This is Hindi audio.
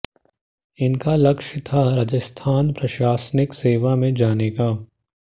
इनका लक्ष्य था राजस्थान प्रशासनिक सेवा में जाने का